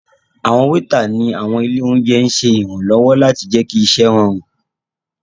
Awọn weeta ni awọn ile ounjẹ n ṣe iranlọwọ lati jẹ ki iṣẹ rọrun